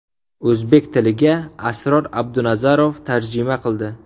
O‘zbek tiliga Asror Abdunazarov tarjima qildi.